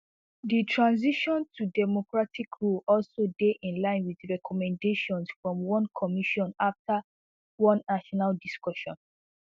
di transition to democratic rule also dey in line wit recommendations from one commission afta one national discussion